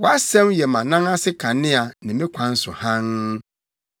Wʼasɛm yɛ mʼanan ase kanea ne me kwan so hann.